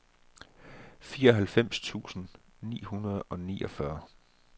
fireoghalvfems tusind ni hundrede og niogfyrre